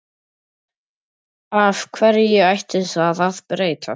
Af hverju ætti það að breytast?